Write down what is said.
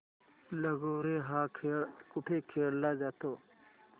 लगोर्या हा खेळ कुठे खेळला जातो